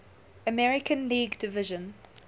american league division